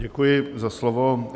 Děkuji za slovo.